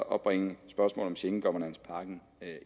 at bringe spørgsmålet om schengen governance pakken